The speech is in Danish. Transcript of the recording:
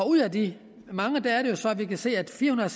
ud af de mange er det jo så vi kan se at firehundrede